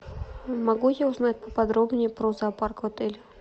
могу я узнать поподробнее про зоопарк в отеле